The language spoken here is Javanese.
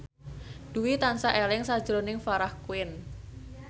Dwi tansah eling sakjroning Farah Quinn